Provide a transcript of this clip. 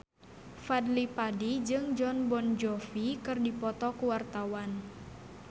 Fadly Padi jeung Jon Bon Jovi keur dipoto ku wartawan